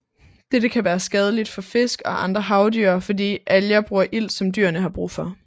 Dette kan være skadeligt for fisk og andre havdyr fordi alger bruger ilt som dyrene har brug for